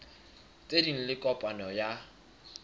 tse ding le kopano ya